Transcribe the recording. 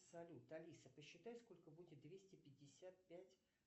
салют алиса посчитай сколько будет двести пятьдесят пять